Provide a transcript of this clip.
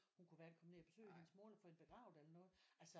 Hun kunne hverken komme ned og besøge hende mor eller få hende begravet eller noget altså